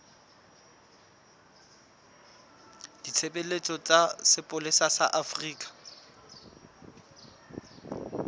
ditshebeletso tsa sepolesa sa afrika